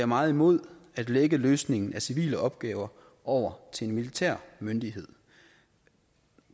meget imod at lægge løsningen af civile opgaver over til en militær myndighed